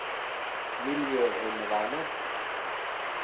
miljøheimevernet